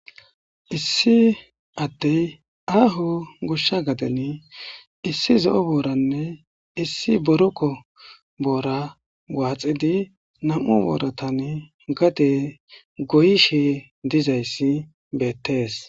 Issi ade aho gosha gaden issi zo'o booranne issi boroqo boora waxidi nam'u booratan gade goyishe dizaysi betes.